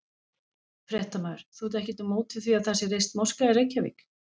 Fréttamaður: Þú ert ekkert á móti því að það sé reist moska í Reykjavík?